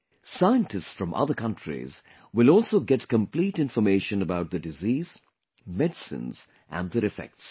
Scientists from other countries will also get complete information about the disease, medicines and their effects